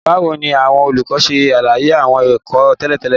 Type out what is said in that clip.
Báwo ni àwọn olùkọ́ ṣe ṣàlàyé àwọn ẹ̀kọ́ tẹ́lẹ̀ tẹ́lẹ̀?